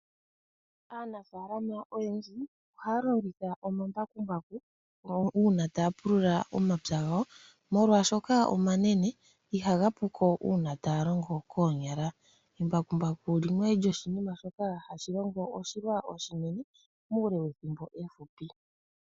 Aanafalama oyendji ohaya longitha omambakumbaku, uuna taya pulula omapya gawo, molwashoka omanene ihaga puko uuna taya longo koonyala. Embakumbaku limwe lyoshinima shoka hashilongo oshilwa oshinene muule wethimbo ehupi.